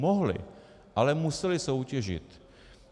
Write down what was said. Mohly, ale musely soutěžit.